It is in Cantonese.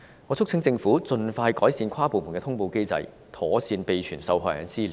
我促請政府盡快改善跨部門的通報機制，妥善備存受害人的資料。